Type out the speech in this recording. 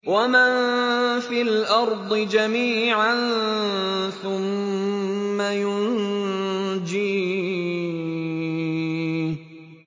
وَمَن فِي الْأَرْضِ جَمِيعًا ثُمَّ يُنجِيهِ